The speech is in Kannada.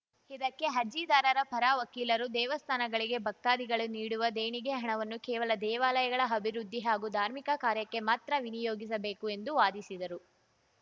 ಇದಕ್ಕೆ ಅರ್ಜಿದಾರರ ಪರ ವಕೀಲರು ದೇವಸ್ಥಾನಗಳಿಗೆ ಭಕ್ತಾದಿಗಳು ನೀಡುವ ದೇಣಿಗೆ ಹಣವನ್ನು ಕೇವಲ ದೇವಾಲಯಗಳ ಅಭಿವೃದ್ಧಿ ಹಾಗೂ ಧಾರ್ಮಿಕ ಕಾರ್ಯಕ್ಕೆ ಮಾತ್ರ ವಿನಿಯೋಗಿಸಬೇಕು ಎಂದು ವಾದಿಸಿದರು